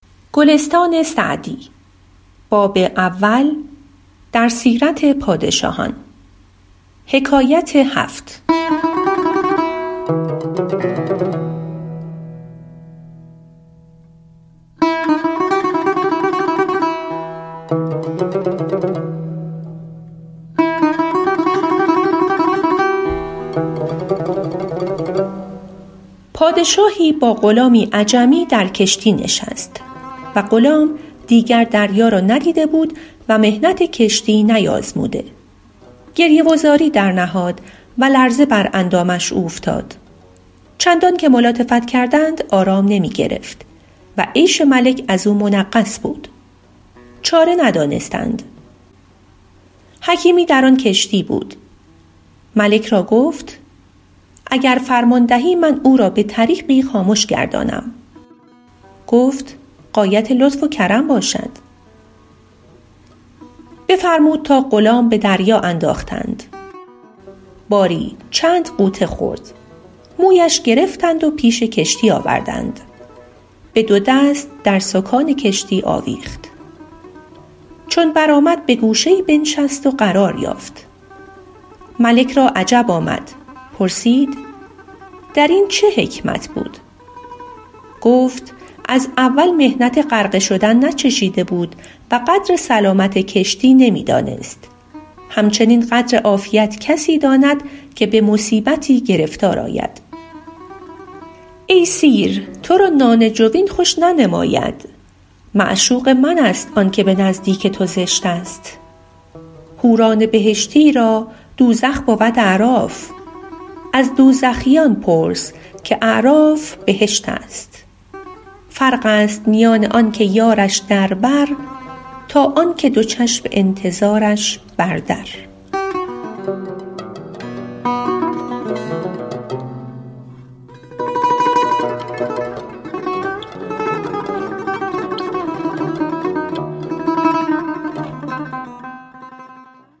پادشاهی با غلامی عجمی در کشتی نشست و غلام دیگر دریا را ندیده بود و محنت کشتی نیازموده گریه و زاری درنهاد و لرزه بر اندامش اوفتاد چندان که ملاطفت کردند آرام نمی گرفت و عیش ملک از او منغص بود چاره ندانستند حکیمی در آن کشتی بود ملک را گفت اگر فرمان دهی من او را به طریقی خامش گردانم گفت غایت لطف و کرم باشد بفرمود تا غلام به دریا انداختند باری چند غوطه خورد مویش گرفتند و پیش کشتی آوردند به دو دست در سکان کشتی آویخت چون برآمد به گوشه ای بنشست و قرار یافت ملک را عجب آمد پرسید در این چه حکمت بود گفت از اول محنت غرقه شدن ناچشیده بود و قدر سلامت کشتی نمی دانست همچنین قدر عافیت کسی داند که به مصیبتی گرفتار آید ای سیر تو را نان جوین خوش ننماید معشوق من است آن که به نزدیک تو زشت است حوران بهشتی را دوزخ بود اعراف از دوزخیان پرس که اعراف بهشت است فرق است میان آن که یارش در بر تا آن که دو چشم انتظارش بر در